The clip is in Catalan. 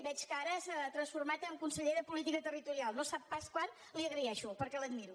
veig que ara s’ha transformat en conseller de política territorial no sap pas quant li ho agraeixo perquè l’admiro